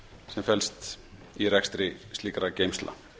sem felst í rekstri slíkra geymslna